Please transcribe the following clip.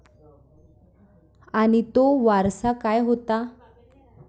आणि तो वारसा काय होता?